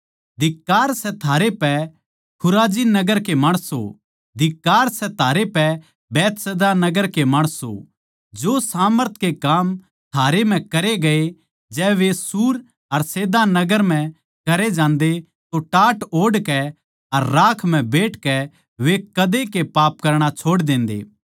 धिक्कार सै थारै पै खुराजिन नगर के माणसों धिक्कार सै थारै पै बैतसैदा नगर के माणसों जो सामर्थ के काम थारै म्ह करे गये जै वे सूर अर सैदा नगर म्ह करे जान्दे तो टाट ओढ़ कै अर राख म्ह बैठकै वे कदे के पाप करणा छोड़ देन्दे